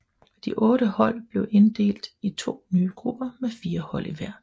De otte hold blev inddelt i to nye grupper med fire hold i hver